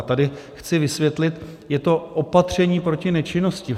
A tady chci vysvětlit, je to opatření proti nečinnosti.